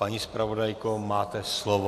Paní zpravodajko, máte slovo.